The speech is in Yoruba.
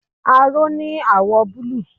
Aró ní àwọ̀ọ̀ búlúù.